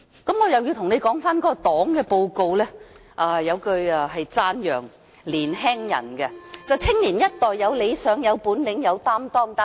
讓我再次討論黨的"十九大報告"，當中有一句是讚揚年青人的，便是"青年一代有理想、有本領、有擔當"。